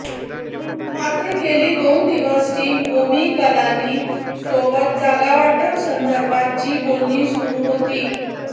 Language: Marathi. मात्र गेली दोन दिवस टीम ओमी कलानी सोबत जागावाटपा संदर्भात जी बोलणी सुरू होती